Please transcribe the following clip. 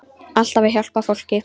Alltaf að hjálpa fólki.